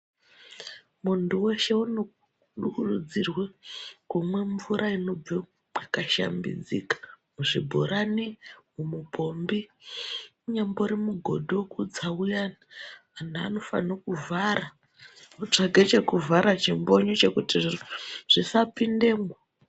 Muntu weshe unokurudzirwe kumwe mvura inobve mwakashambidzika muzvibhorani mupombi unyambori mugodhi wekutsa uyani antu anofane kuvhara votsvage chekuvhara chimbonyo chekuti zviro zvisapindemwo.